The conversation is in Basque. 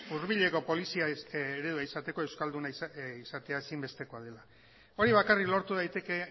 hurbileko polizia eredua izateko euskalduna izatea ezinbestekoa dela hori bakarrik lortu daiteke